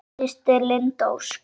Þín systir, Linda Ósk.